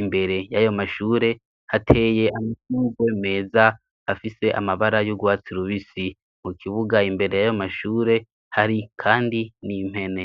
Imbere y'ayo mashure hateye amashurwe meza afise amabara y'urwatsi rubisi. Mu kibuga imbere y'ayo mashure hari kandi n'impene.